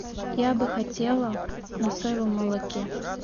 я бы хотела на соевом молоке